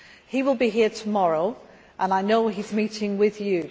He will be here tomorrow and I know he is meeting with you.